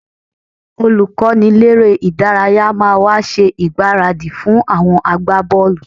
Olùkọ́niléré-ìdárayá máa wá ṣe ìgbáradì fún àwọn agbábọ́ọ̀lù